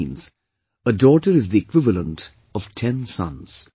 This means, a daughter is the equivalent of ten sons